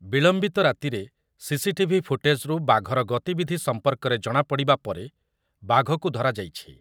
ବିଳମ୍ବିତ ରାତିରେ ସିସିଟିଭି ଫୁଟେଜ୍‌ରୁ ବାଘର ଗତିବିଧି ସମ୍ପର୍କରେ ଜଣାପଡ଼ିବା ପରେ ବାଘକୁ ଧରାଯାଇଛି ।